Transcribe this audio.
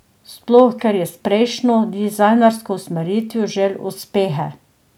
Sploh ker je s prejšnjo dizajnersko usmeritvijo žel uspehe.